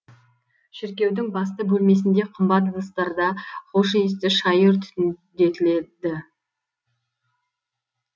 шіркеудің басты бөлмесінде қымбат ыдыстарда хош иісті шайыр түтіндетіледі